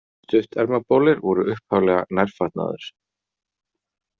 Stuttermabolir voru upphaflega nærfatnaður.